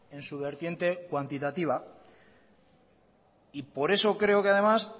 en su vertiente cuantitativa y por eso creo que además